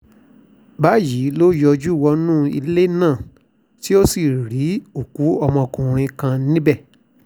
báyìí ló yọjú wọnú ilé náà tó sì rí òkú ọmọkùnrin kan níbẹ̀